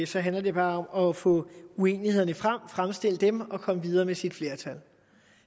så handler det bare om at få uenighederne frem fremstille dem og komme videre med sit flertal